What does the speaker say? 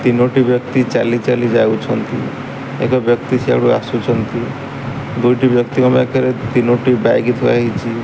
ତିନୋଟି ବ୍ୟକ୍ତି ଚାଲି ଚାଲି ଯାଉଛନ୍ତି। ଏକ ବ୍ୟକ୍ତି ସିଆଡୁ ଆସୁଛନ୍ତି ଦୁଇଟି ବ୍ୟକ୍ତିଙ୍କ ପାଖରେ ତିନଟି ବ୍ୟାଗ୍ ଥୁଆ ହେଇଚି।